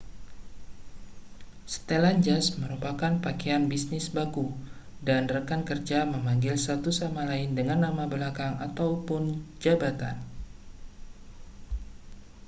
setelan jas merupakan pakaian bisnis baku dan rekan kerja memanggil satu sama lain dengan nama belakang ataupun jabatan